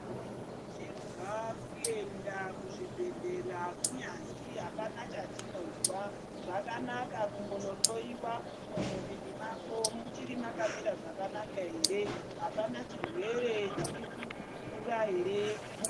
Tinokurudzirwa kuenda kuzvibhedhlera kunyazi apana chatinozwa Zvakanaka kunondohloiwa kuti muviri mako muchiri Nakamura zvakanaka ere apana chirwere chiri kukura here.